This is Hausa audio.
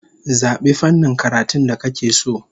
Zabi fannin karatun da kake so!